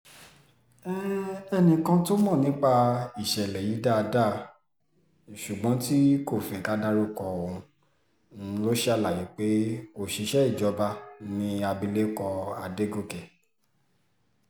ẹnìkan tó mọ̀ nípa ìṣẹ̀lẹ̀ yìí dáadáa ṣùgbọ́n tí kò fẹ́ ká dárúkọ òun ṣàlàyé pé òṣìṣẹ́ ìjọba làbìlẹ̀kọ adọ́gọ́kẹ́